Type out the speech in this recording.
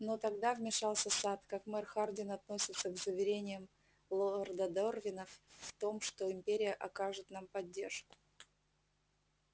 но тогда вмешался сатт как мэр хардин относится к заверениям лорда дорвина в том что империя окажет нам поддержку